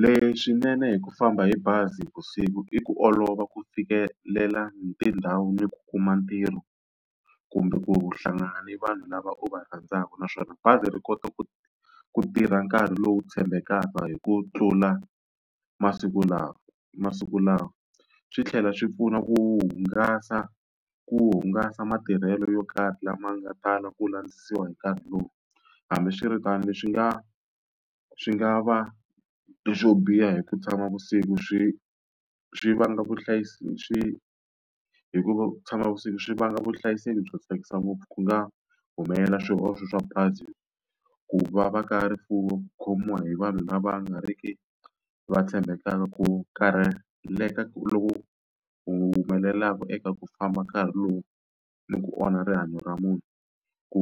Leswinene hi ku famba hi bazi navusiku i ku olova ku fikelela tindhawu ni ku kuma ntirho, kumbe ku hlangana ni vanhu lava u va rhandzaka. Naswona bazi ri kota ku ku tirha nkarhi lowu tshembekaka hi ku tlula masiku lawa masiku lawa. Swi tlhela swi pfuna ku hungasa ku hungasa matirhelo yo karhi lama nga tala ku landzisiwa hi nkarhi lowu. Hambiswiritano leswi nga swi nga va leswo biha hi ku vusiku swi swi vanga swi hikuva ku tshama vusiku swi vanga vuhlayiseki byo tsakisa ngopfu ku nga humelela swihoxo swa bazi, ku va va ka rifuwo, ku khomiwa hi vanhu lava nga ri ki va tshembekaka, ku karheleka loku humelelaka eka ku famba nkarhi lowu ni ku onha rihanyo ra munhu, ku